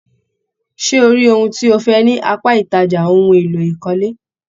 Ṣé o rí ohun tí o fẹ ní apá ìtajà ohùn èlò ìkọ́lé?